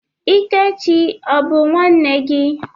Ikechi a bụ nwanne gị?